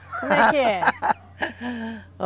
Como é que é?